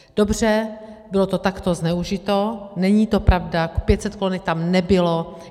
Dobře, bylo to takto zneužito, není to pravda, 500 kolonek tam nebylo.